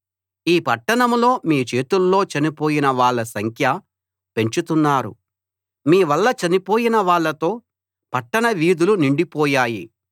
ఈ పట్టణంలో మీ చేతుల్లో చనిపోయిన వాళ్ళ సంఖ్య పెంచుతున్నారు మీ వల్ల చనిపోయిన వాళ్ళతో పట్టణ వీధులు నిండిపోయాయి